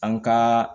An ka